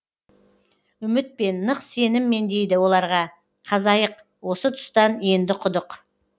үмітпен нық сеніммен дейді оларға қазайық осы тұстан енді құдық